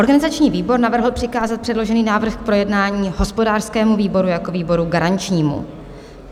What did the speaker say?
Organizační výbor navrhl přikázat předložený návrh k projednání hospodářskému výboru jako výboru garančnímu.